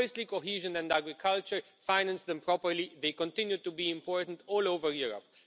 Firstly, cohesion and agriculture finance them properly, they continue to be important all over Europe.